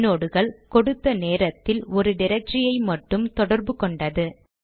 ஐநோட்கள் கொடுத்த ஒரு நேரத்தில் ஒரு ட்ரக்டரி ஐ மட்டும் தொடர்பு கொண்டது